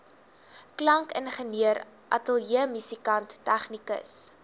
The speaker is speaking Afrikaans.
klankingenieur ateljeemusikant tegnikus